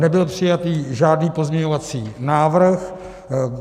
Nebyl přijatý žádný pozměňovací návrh.